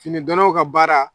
Fini donnaw ka baara